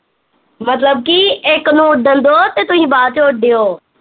ਮਤਲਬ ਕੀ ਇੱਕ ਨੂੰ ਉੱਡਣ ਦਉ ਤੇ ਤੁਸੀਂ ਬਾਦ ਚੋਂ ਉੱਡਿਓ